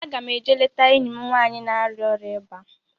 Aga m eje leta enyi m nwaanyị na-arịa ọrịa ịba